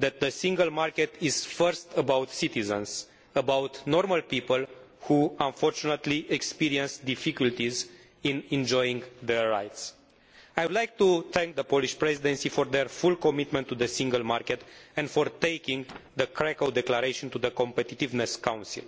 that the single market is firstly about citizens, about normal people who unfortunately experience difficulties in enjoying their rights. I would like to thank the Polish Presidency for their full commitment to the single market and for taking the Krakow Declaration to the Competitiveness Council.